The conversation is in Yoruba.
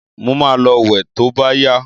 Mo ma lọ wẹ̀ to bá yá.